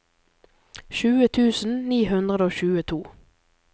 tjue tusen ni hundre og tjueto